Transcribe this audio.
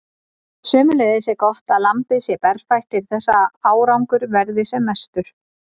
Sömuleiðis er gott að lambið sé berfætt til þess að árangur verði sem mestur.